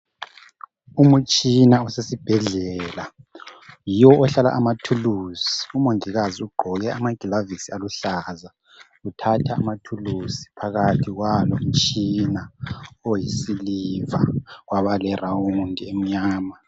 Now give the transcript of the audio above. Umutshina osesibhedlela yiwo ohlala amathuluzi umongikazi ugqoke amagilavisi aluhlaza uthatha amathuluzi phakathi kwalomtshina oyisiliva waba le round emnyama.